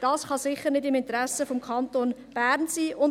Dies kann sicher nicht im Interesse des Kantons Bern sein.